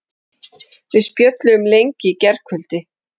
Við spjölluðum lengi í gærkvöldi.